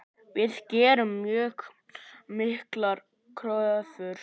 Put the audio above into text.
Við gerum mjög miklar kröfur.